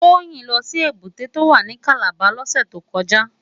Toyin lò si ébùté tó wá ni Kàlábá lòsè tó kòjá